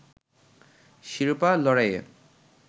শিরোপা লড়াইয়ে